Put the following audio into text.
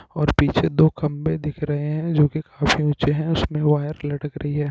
और पीछे दो खंभे दिख रहे हैं और जो की काफी ऊँचे हैं और उसमे वायर लटक रही है।